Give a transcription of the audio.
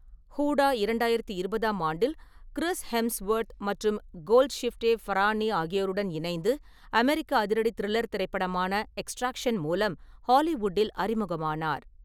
ஹூடா இரண்டாயிரத்து இருபதாம் ஆண்டில் கிறிஸ் ஹெம்ஸ்வொர்த் மற்றும் கோல்ட்ஷிஃப்டே ஃபரானி ஆகியோருடன் இணைந்து அமெரிக்க அதிரடி-திரில்லர் திரைப்படமான எக்ஸ்ட்ராக்ஷன் மூலம் ஹாலிவுட்டில் அறிமுகமானார்.